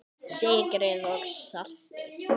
Sykrið og saltið.